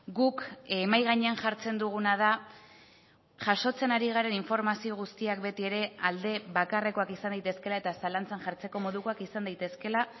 guk mahai gainean jartzen duguna da jasotzen ari garen informazio guztiak beti ere alde bakarrekoak izan daitezkeela eta zalantzan jartzeko modukoak izan daitezkeela